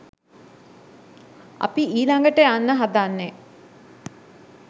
අපි ඊළඟට යන්න හදන්නේ